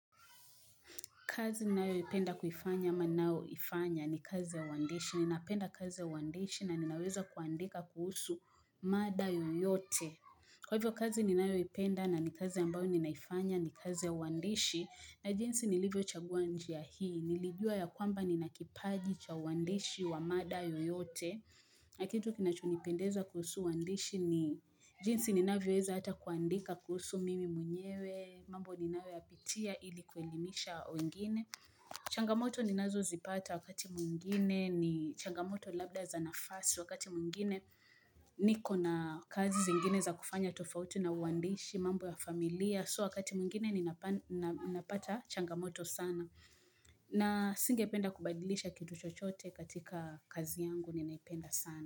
Ninayopenda kuifanya ama ninayoifanya ni kazi ya uandishi. Ninapenda kazi ya uandishi na ninaweza kuandika kuhusu mada yoyote. Kwa hivyo kazi ninayoipenda na ni kazi ambayo ninaifanya ni kazi ya uandishi. Na jinsi nilivyochagua njia hii. Nilijua ya kwamba nina kipaji cha uandishi wa mada yoyote. Na kitu kinachonipendeza kuhusu uandishi ni jinsi ninavyoweza hata kuandika kuhusu mimi mwenyewe. Mambo ninayoyapitia ili kuelimisha wengine. Changamoto ninazozipata wakati mwingine ni changamoto labda za nafasi wakati mwingine niko na kazi zingine za kufanya tofauti na uandishi mambo ya familia So wakati mwingine ninapata changamoto sana na singependa kubadilisha kitu chochote katika kazi yangu ninaipenda sana.